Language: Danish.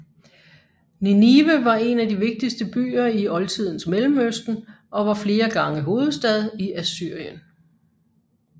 Ninive var en af de vigtigste byer i oldtidens Mellemøsten og var flere gange hovedstad i Assyrien